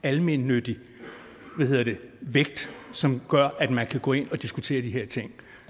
almennyttig vægt som gør at man kan gå ind og diskutere de her ting